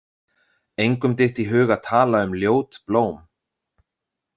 Engum dytti í hug að tala um ljót blóm.